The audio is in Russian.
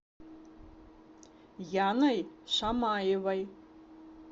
яной шамаевой